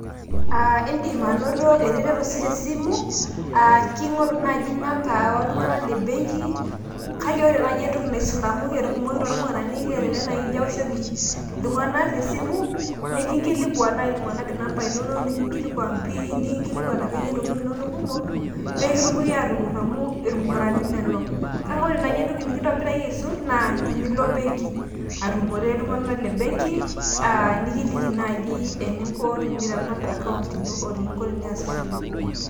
Indim anato eretoto sii te simu, kingoru naaji CS[number]Cs oo iltung'anak le benki kake ore naaji entoki naisul ama enotokitio irmukurani kelelek naaji ijo aoshoki iltung'anak te simu nekinkilikuan naaji iltung'anak CS[number]CS inonok oo CS[pin]CS naa irmukurani lelo, kake ore naji entoki nekintobiraki aisul naa tenilo embenki atumore iltung'anak le mbenki nekiliki naaji eninko teniramat CS[account]CS oo teniyasishore.